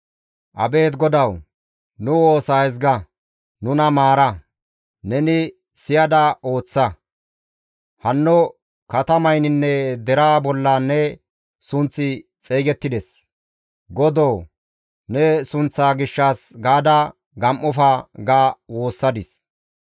Abeet Godawu! Nu woosa ezga! Nuna maara! Neni siyada ooththa! Hanno katamayninne deraa bolla ne sunththi xeygettides; Godo ne sunththaa gishshas gaada gam7ofa» ga woossadis.